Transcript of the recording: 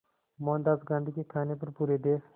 मोहनदास गांधी के कहने पर पूरे देश